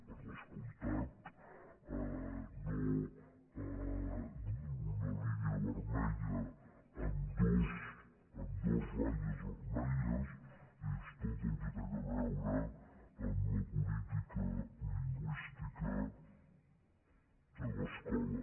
i per descomptat una línia vermella amb dues ratlles vermelles és tot el que té a veure amb la política lingüística a l’escola